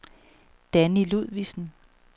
Danni Ludvigsen